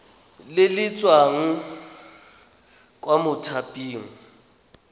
le le tswang kwa mothaping